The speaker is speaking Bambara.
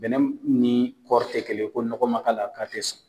Bɛnɛ ni kɔri tɛ kɛlen ye, ko nɔgɔ ma k'a la, k'a tɛ sɔn